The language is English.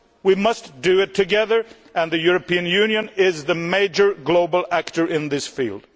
We must do it together and the European Union is the major global actor in this field.